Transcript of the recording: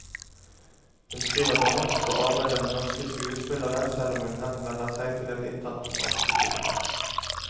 Hun skriver på norsk og arbeider med norske skuespillere, selv om hun henvender seg til et internasjonalt publikum.